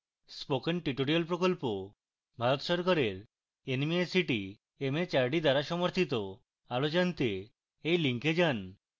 spoken tutorial প্রকল্প ভারত সরকারের nmeict mhrd দ্বারা সমর্থিত আরো জনাতে এই লিঙ্কে যান